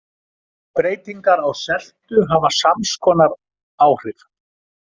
Breytingar á seltu hafa sams konar áhrif.